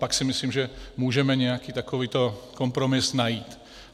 Pak si myslím, že můžeme nějaký takový kompromis najít.